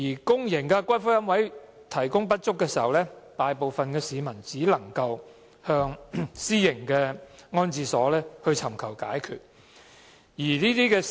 公營龕位提供不足，大部分市民只能向私營龕場尋求解決。